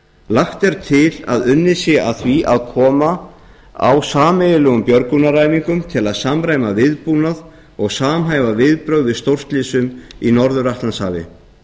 lagt er til að unnið sé að því að koma á sameiginlegum björgunaræfingum til að samræma viðbúnað og samhæfa viðbrögð við stórslysum í norður atlantshafi